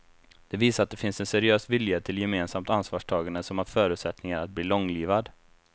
Det visar att det finns en seriös vilja till gemensamt ansvarstagande som har förutsättningar att bli långlivad.